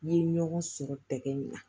N ye ɲɔgɔn sɔrɔ tɛgɛ in na